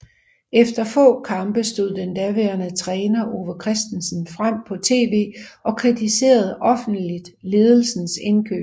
Efter få kampe stod den daværende træner Ove Christensen frem på TV og kritiserede offentligt ledelsens indkøb